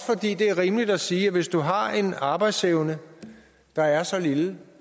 fordi det er rimeligt at sige at hvis du har en arbejdsevne der er så lille